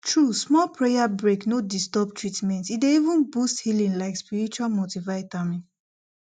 true small prayer break no disturb treatment e dey even boost healing like spiritual multivitamin